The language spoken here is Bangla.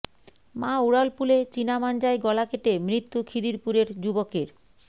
মা উড়ালপুলে চিনা মাঞ্জায় গলা কেটে মৃত্যু খিদিরপুরের যুবকের